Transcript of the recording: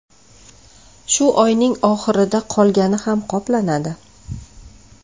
Shu oyning oxirida qolgani ham qoplanadi.